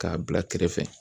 K'a bila kɛrɛfɛ